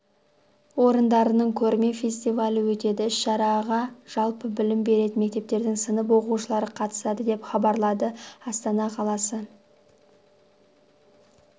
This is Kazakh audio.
орындарының көрме-фестивалі өтеді іс-шараға жалпы білім беретін мектептердің сынып оқушылары қатысады деп хабарлады астана қаласы